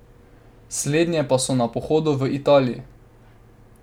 Slednje pa so na pohodu v Italiji.